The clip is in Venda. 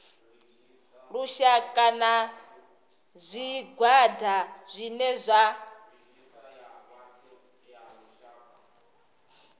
lushaka na zwigwada zwine zwa